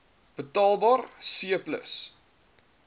betaalbaar c plus